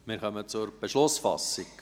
Wir kommen zur Beschlussfassung.